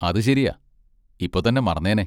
അത് ശെരിയാ, ഇപ്പൊ തന്നെ മറന്നേനെ.